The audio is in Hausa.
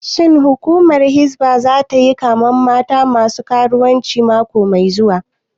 Shin hukumar hizba zata yi kamen mata masu karuwanci mako mai zuwa?